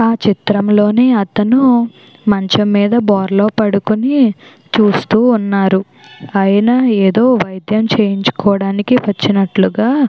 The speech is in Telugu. ఆ చిత్రంలోని అతడు మంచం మీద బోర్లా పడుకొని చూస్తూ ఉన్నారు. ఆయన ఏదో వైద్యం చేయించుకోవడానికి వచ్చినట్లుగా --